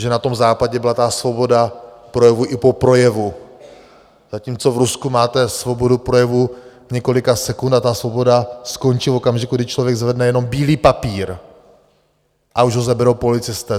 Že na tom Západě byla ta svoboda projevu i po projevu, zatímco v Rusku máte svobodu projevu několika sekund a ta svoboda skončí v okamžiku, kdy člověk zvedne jenom bílý papír, a už ho seberou policisté.